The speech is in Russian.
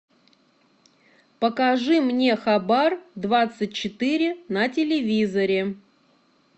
покажи мне хабар двадцать четыре на телевизоре